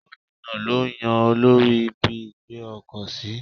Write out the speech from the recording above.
Gómìnà lo yan olórí ibi ìgbé ọkọ̀ sí.